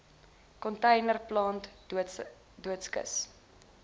container plant doodskis